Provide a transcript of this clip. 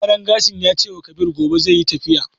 Mai gyaran gashin ya cewa Kabir gobe zai yi tafiya.